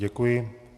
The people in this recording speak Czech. Děkuji.